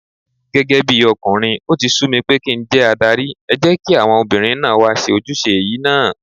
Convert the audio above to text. Gẹ́gẹ́bí ọkùnrin, ó ti sú mi pé kí njẹ́ adarí, ẹ jẹ́kí àwọn obìnrin náà wá ṣe ojúṣe yìí náà.